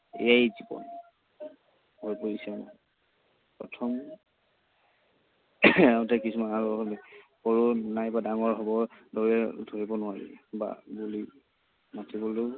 এইয়াই জীৱন হৈ পৰিছে। প্ৰথম কিছুমান আৰু সৰু নাইবা ডাঙৰ হব লৈ ধৰিব নোৱাৰি। বা বুলি মাতিবলৈও